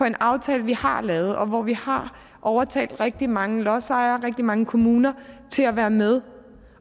en aftale vi har lavet og hvor vi har overtalt rigtig mange lodsejere rigtig mange kommuner til at være med